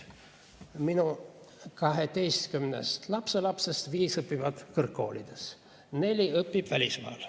Minu 12 lapselapsest viis õpivad kõrgkoolides, neist neli õpib välismaal.